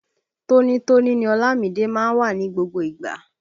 Tóní tóní ni Ọlámìídé má ń wà ní gbogbo ìgbà